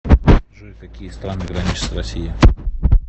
джой какие страны граничат с россией